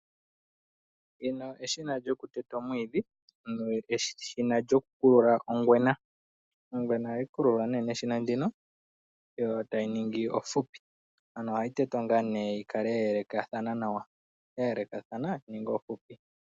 Eshina lyokuteta omwiidhi noku kulula ngwena. Ongwena ohayi kululwa neshina ndika opo yi ninge ohupi yoyikale ya yelekana nawa.